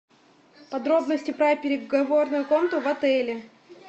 подробности про переговорную комнату в отеле